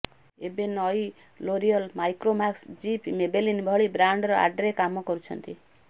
ଏବେ ନଇ L'Oreal Micromax Jeep Maybelline ଭଳି ବ୍ରାଣ୍ଡର ଆଡ୍ରେ କାମ କରୁଛନ୍ତି